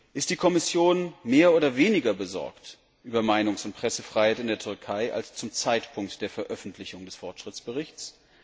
Ist die Kommission mehr oder weniger besorgt über Meinungs und Pressefreiheit in der Türkei als zum Zeitpunkt der Veröffentlichung des Fortschrittsberichts?